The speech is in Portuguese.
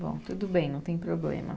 Bom, tudo bem, não tem problema.